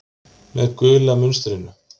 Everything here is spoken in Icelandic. Með gula munstrinu.